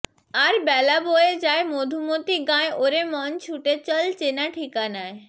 আর বেলা বয়ে যায় মধুমতী গাঁয় ওরে মন ছুটে চল্ চেনা ঠিকানায়